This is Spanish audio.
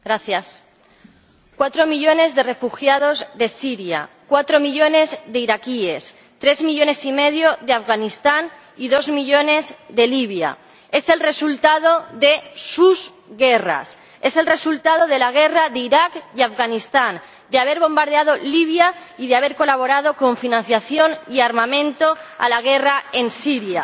Señor Presidente, cuatro millones de refugiados de Siria, cuatro millones de iraquíes, tres millones y medio de Afganistán y dos millones de Libia es el resultado de sus guerras, es el resultado de la guerra de Irak y Afganistán, de haber bombardeado Libia y de haber colaborado con financiación y armamento a la guerra en Siria.